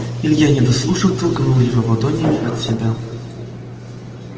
илья не дослушав толкнул его ладонями от себя